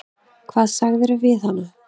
Hvað sagðirðu við hana?